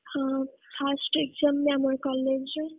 ହଁ first exam ବି ଆମର college ରେ।